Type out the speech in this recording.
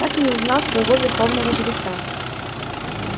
так и не узнал своего верховного жреца